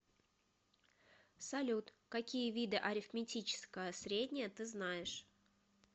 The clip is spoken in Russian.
салют какие виды арифметическое среднее ты знаешь